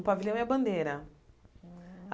O pavilhão é a bandeira. Hum